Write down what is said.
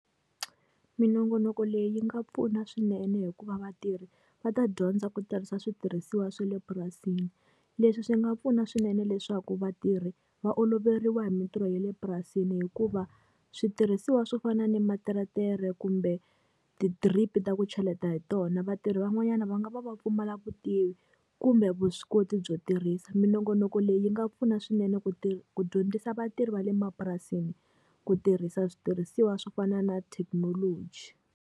Minongonoko leyi yi nga pfuna swinene hikuva vatirhi va ta dyondza ku tirhisa switirhisiwa swa le purasini. Leswi swi nga pfuna swinene leswaku vatirhi, va oloveriwa hi mintirho ya le purasini hikuva switirhisiwa swo fana na materetere kumbe tidiripi ta ku cheleta hi tona vatirhi van'wanyana va nga va pfumala vutivi, kumbe vuswikoti byo tirhisa. Minongonoko leyi yi nga pfuna swinene ku ku dyondzisa vatirhi va le mapurasini ku tirhisa switirhisiwa swo fana na thekinoloji.